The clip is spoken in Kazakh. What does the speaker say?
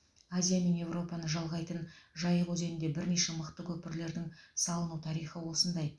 азия мен европаны жалғайтын жайық өзенінде бірнеше мықты көпірлердің салыну тарихы осындай